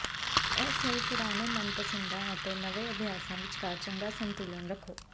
ਇਸ ਲਈ ਪੁਰਾਣੇ ਮਨਪਸੰਦਾਂ ਅਤੇ ਨਵੇਂ ਅਭਿਆਸਾਂ ਵਿਚਕਾਰ ਚੰਗਾ ਸੰਤੁਲਨ ਰੱਖੋ